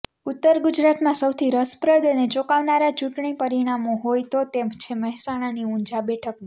ઉત્તર ગુજરાતમાં સૌથી રસપ્રદ અને ચોંકાવનારા ચૂંટણી પરિણામો હોય તો તે છે મહેસાણાની ઉંઝા બેઠકની